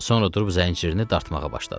Sonra durub zəncirini dartmağa başladı.